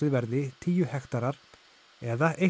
verði tíu hektarar eða